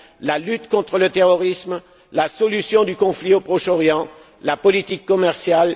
La lutte contre le terrorisme? La solution du conflit au Proche Orient? La politique commerciale?